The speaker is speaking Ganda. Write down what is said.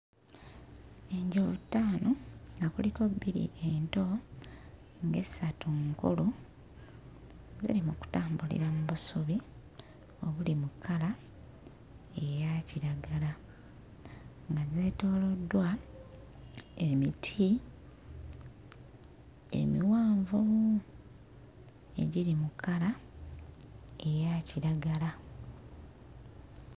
Enjovu ttaano nga kuliko bbiri ento ng'essatu nkulu ziri mu kutambulira mu busubi obuli mu kkala eya kiragala nga zeetooloddwa emiti emiwanvu egiri mu kkala eya kiragala.